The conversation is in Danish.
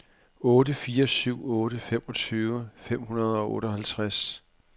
otte fire syv otte femogtyve fem hundrede og otteoghalvtreds